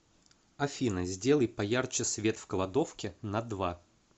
афина сделай поярче свет в кладовке на два